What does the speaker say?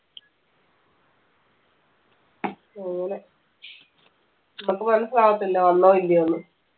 അങ്ങനെ നമ്മക്ക് മനസിലാവതില്ല വന്നോ ഇല്ല്യോന്ന്